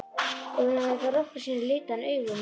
Ef hún hafði þá nokkru sinni litið hann augum.